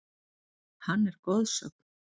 Hann er goðsögn.